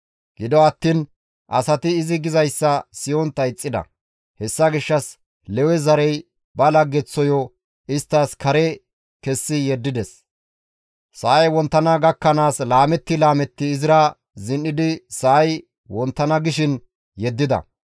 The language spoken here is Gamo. Gido attiin asati izi gizayssa siyontta ixxida. Hessa gishshas Lewe zarezi ba laggeththoyo isttas kare kessi yeddides; sa7ay wonttana gakkanaas laametti laametti izira zin7idi sa7ay wonttana gishin yeddida.